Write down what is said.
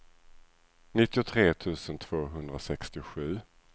nittiotre tusen tvåhundrasextiosju